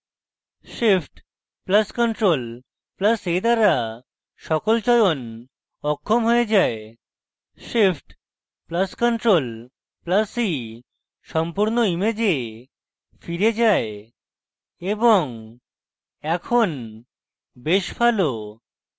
shift + ctrl + a দ্বারা সকল চয়ন অক্ষম হয়ে যায় shift + ctrl + e সম্পূর্ণ image ফিরে যায় এবং এখন বেশ ভালো